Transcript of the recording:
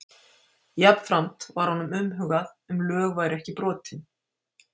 Jafnframt var honum umhugað um lög væru ekki brotin.